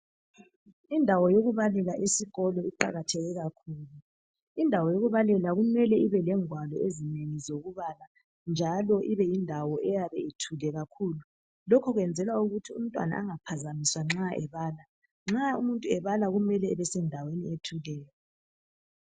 indawo yokubalela esikolo iqhakathekile kakhulu indawo yokubalela kumele ibe lengwalo ezinengi zokubala njalo ibe yindawo ethuleyo lokho kuyenzelwa ukuthi umntwana angaphanjwaniswa nxabebala nxa umuntu ebala kume ebesendaweni ethuleyo